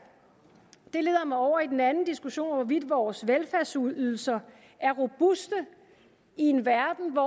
det leder mig over i en anden diskussion om hvorvidt vores velfærdsydelser er robuste i en verden med